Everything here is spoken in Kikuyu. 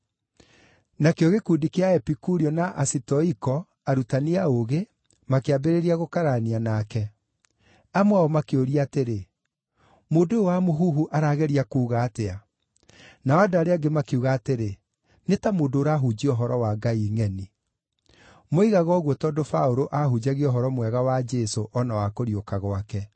Nakĩo gĩkundi kĩa Aepikurio na Asitoiko, arutani a ũũgĩ, makĩambĩrĩria gũkararania nake. Amwe ao makĩũria atĩrĩ, “Mũndũ ũyũ wa mũhuhu arageria kuuga atĩa?” Nao andũ arĩa angĩ makiuga atĩrĩ, “Nĩ ta mũndũ ũrahunjia ũhoro wa ngai ngʼeni.” Moigaga ũguo tondũ Paũlũ aahunjagia Ũhoro Mwega wa Jesũ o na wa kũriũka gwake.